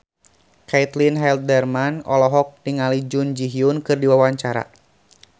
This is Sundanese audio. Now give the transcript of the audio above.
Caitlin Halderman olohok ningali Jun Ji Hyun keur diwawancara